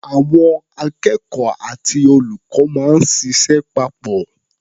Àwọn akẹ́kọ̀ó àti olùkọ́ máa ń ṣịṣẹ́ papọ̀.